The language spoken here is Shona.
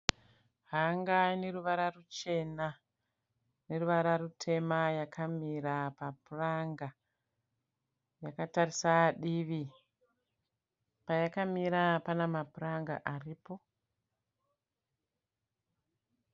Hanga ine ruvara ruchena neruvara rutema yakamira papuranga yakatarisa divi. Payakamira pana mapuranga aripo.